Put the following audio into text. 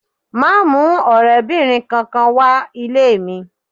Máa mú ọ̀rẹ́bìnrin kankan wá ilé mi.